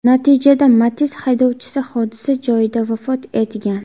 Natijada Matiz haydovchisi hodisa joyida vafot etgan.